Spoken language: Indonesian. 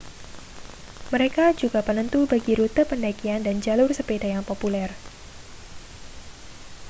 mereka juga penentu bagi rute pendakian dan jalur sepeda yang populer